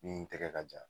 Min tɛgɛ ka jan